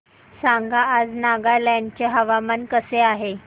सांगा आज नागालँड चे हवामान कसे आहे